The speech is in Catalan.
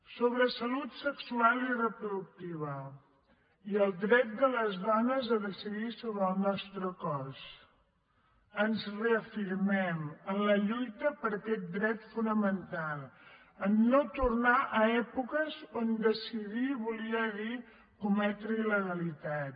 sobre salut sexual i reproductiva i el dret de les dones a decidir sobre el nostre cos ens reafirmem en la lluita per aquest dret fonamental a no tornar a èpoques on decidir volia dir cometre il·legalitats